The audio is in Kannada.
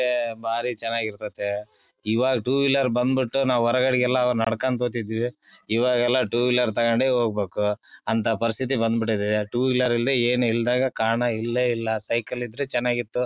ಬಾರಿ ಚನ್ನಾಗಿ ಇರತತೆ ಈವಾಗ ಟೂ ವೀಲರ್ ಬಂದ್ ಬಿಟ್ಟು ನಾವು ಹೊರಗಡೆಯೆಲ್ಲಾ ನಡಕೊಂಡ್ ಹೋಗತ್ತಿದ್ವಿ ಈವಾಗೆಲ್ಲಾ ಟೂ ವೀಲರ್ ತೊಕೊಂಡೆ ಹೋಗಬೇಕು ಅಂತ ಪರಸ್ಥಿತ್ತಿ ಬಂದ ಬಿಟ್ಟಿದೆ ಟೂ ವೀಲರ್ ಇಲ್ಲದೆ ಏನು ಇಲ್ಲದಂಗ ಕಾಣ್ ಇಲ್ಲೇ ಇಲ್ಲಾ ಸೈಕಲ್ ಇದ್ರೆ ಚನ್ನಾಗಿತ್ತು .